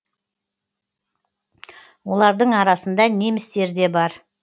олардың арасында немістер де бар